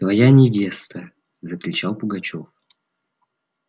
твоя невеста закричал пугачёв